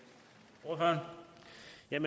jo